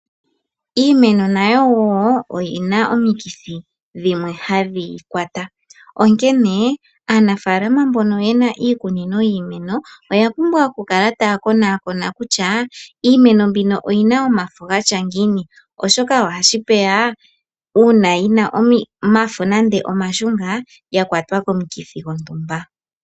Iimeno nayo wo oyi na omikithi dhimwe hadhi yi kwata. Onkene aanafalama yamwe mbono ye na iikunino yiimeno oya pumbwa okukala taya konakona kutya iimeno mbino oyi na omafo ga tya ngiini, oshoka ohashi vulika uuna yi na omafo nande omashunga ya kwatwa komukithi gontumba.